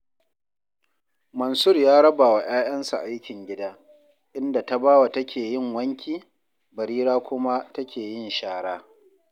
Munsur ya raba wa 'ya'yansa aikin gida, inda Tabawa take yin wanki, Barira kuma take yin shara